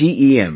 GeM